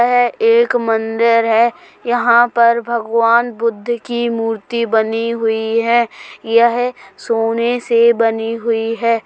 यह एक मंदिर है। यहाँ पर भगवान बुद्ध की मूर्ति बनी हुई है यह सोने से बनी हुई है।